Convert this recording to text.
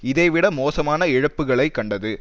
இதை விட மோசமான இழப்புக்களை கண்டது